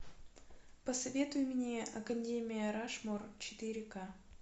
посоветуй мне академия рашмор четыре ка